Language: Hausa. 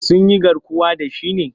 Sun yi garkuwa da shi ne?